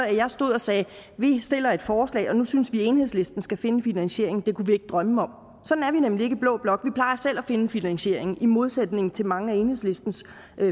at jeg stod og sagde vi stiller et forslag og nu synes vi enhedslisten skal finde finansieringen det kunne vi ikke drømme om sådan er vi nemlig ikke i blå blok vi plejer selv at finde finansieringen i modsætning til mange af enhedslistens